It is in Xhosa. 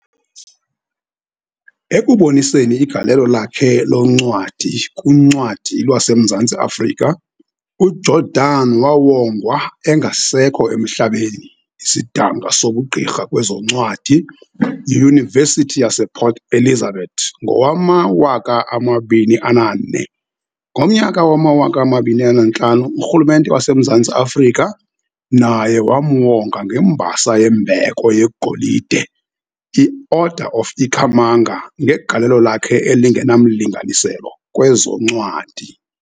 Ekuboniseni igalelo lakhe loncwadi kuncwadi lwaseMzantsi Africa, uJordan wawonga engasekho emhlabeni isidanga sobugqirha kwezoncwadi yiYunivesithi yasePort Elizabeth ngowama-2004. Ngomnyaka wama-2005 uRhulumente waseMzantsi Afrika naye wamuwonga ngembasa yembheko yeGolide i-Order of Ikhamanga ngegalelo lakhe elingenamlinganiselo kwezoncwadi.